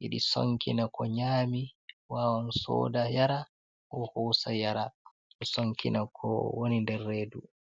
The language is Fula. yiɗi sonkina ko nyami wawan soda yaara, ko hoosa yara ɗo sonkina ko woni nder redu.